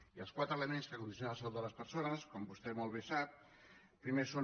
i els quatre elements que condicionen la salut de les persones com vostè molt bé sap primer són